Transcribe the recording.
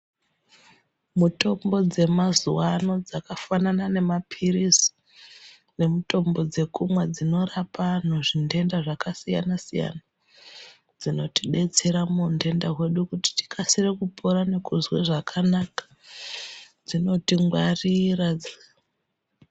Mutombo dzemazuwano dzakafanana nemaphirizi nemutombo dzekumwa dzinorapa antu zvindenda zvakasiyana siyana dzinotidetsera muundenda hwedu kuti tikasire kupora nekuzwe zvakanaka dzinotingwarira.